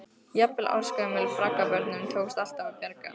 Jafnvel ársgömlum braggabörnum tókst alltaf að bjarga.